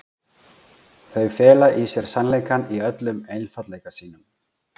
Þau fela í sér sannleikann í öllum einfaldleika sínum.